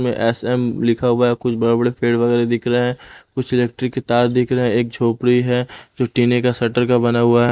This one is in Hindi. में एस_एम लिखा हुआ है कुछ बड़े-बड़े पेड़ वगैरह दिख रहे हैं कुछ इलेक्ट्रिक के तार दिख रहे हैं एक झोपड़ी है जो टीने का शटर का बना हुआ है।